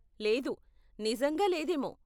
లేదు, నిజంగా లేదేమో.